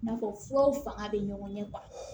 I n'a fɔ furaw fanga bɛ ɲɔgɔn ɲɛ